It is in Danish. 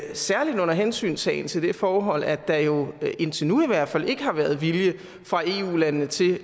særlig under hensyntagen til det forhold at der jo indtil nu i hvert fald ikke har været vilje fra eu landenes side